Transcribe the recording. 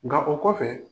Nka o kɔfɛ